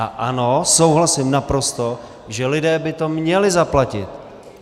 A ano, souhlasím naprosto, že lidé by to měli zaplatit.